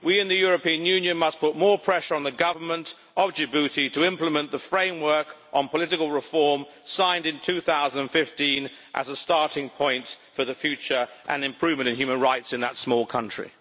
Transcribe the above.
We in the European Union must put more pressure on the Government of Djibouti to implement the framework on political reform signed in 2015 as a starting point for the future and improvement in human rights in that small country.